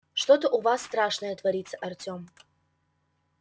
что-то у вас страшное творится артём